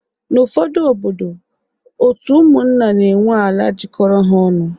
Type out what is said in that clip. N'ufodu obodo, otu ụmụnna na enwe ala jikọrọ ha ọnụ